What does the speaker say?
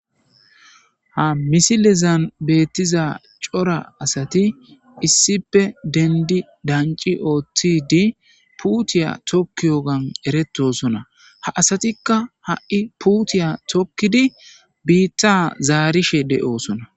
ha misilezan beettiza cora asati issipe dendi danci ooththi di puutiya tokki yogan eretosona ha asatikka ha7i puutiya tokkidi biitta zaarishe de7osona